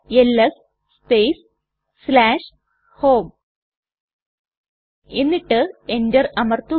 LS space home എന്നിട്ട് enter അമർത്തുക